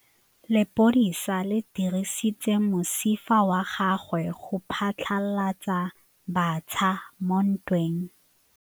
Lepodisa le dirisitse mosifa wa gagwe go phatlalatsa batšha mo ntweng.